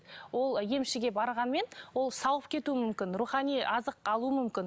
ол емшіге барғанмен ол сауығып кетуі мүмкін рухани азық алуы мүмкін